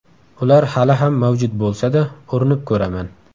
Ular hali ham mavjud bo‘lsa-da, urinib ko‘raman.